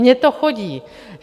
Mně to chodí.